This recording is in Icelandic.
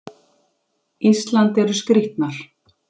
Ísland eru skrýtnar.